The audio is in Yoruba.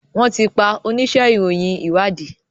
wón ti pá onísé ìròyìn ìwádìí.